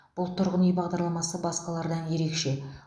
бұл тұрғын үи бағдарламасы басқалардан ерекше